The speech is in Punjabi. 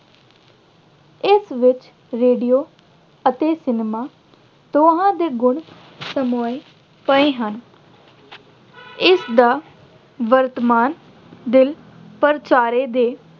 ਇਸ ਵਿੱਚ radio ਅਤੇ cinema ਦੋਹਾਂ ਦੇ ਗੁਣ ਸਮੋਏ ਹੋਏ ਹਨ। ਇਸਦਾ ਵਰਤਮਾਨ ਦਿਨ ਪਰਚਾਰੇ ਦੇ